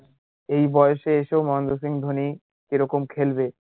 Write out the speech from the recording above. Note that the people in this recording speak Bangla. এই বয়সে এসে ও মহেন্দ্র সিং ধোনি কি রকম খেলবে